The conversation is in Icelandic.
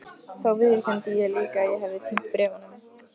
Þá viðurkenndi ég líka að ég hefði týnt bréfunum.